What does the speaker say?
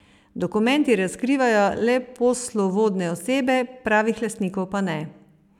Dokumenti razkrivajo le poslovodne osebe, pravih lastnikov pa ne.